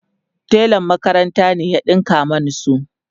telan makaranta ne ya ɗinka Mani su